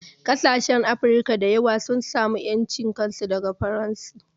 Ƙasashen Afirka da yawa sun samu ƴancin kansu daga Faransa